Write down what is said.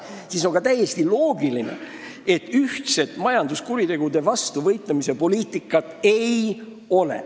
Selles olukorras on täiesti loogiline ka see, et meil ühtset majanduskuritegude vastu võitlemise poliitikat ei ole.